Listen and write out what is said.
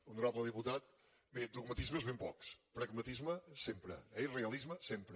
honorable diputat bé dogmatismes ben pocs pragmatisme sempre eh i realisme sempre